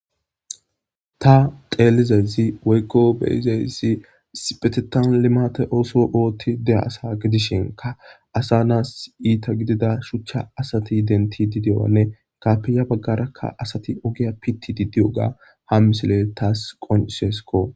Ta xeelizezi woykko beyizeyssi sipetetan limate ooso oothti dea asa gidishenka asa naas iita gidida shuchcha asati identi di dewanne ikapiya baggarakka asati ogiya pitti diddi oga ha misile taas qonisesko